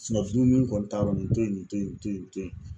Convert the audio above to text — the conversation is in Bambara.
fununi kɔni ta yɔrɔ nin to ye nin to ye nin to ye nin to ye